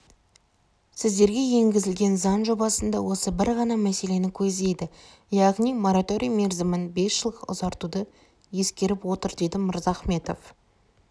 сіздерге енгізілген заң жобасында осы бір ғана мәселені көздейді яғни мораторий мерзімін бес жылға ұзартуды ескеріп отыр деді мырзахметов